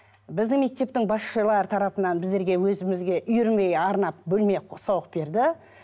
біздің мектептің басшылары тарапынан біздерге өзімізге үйірме арнап бөлме соғып берді